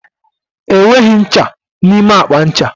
Enweghị ncha n'ime akpa ncha.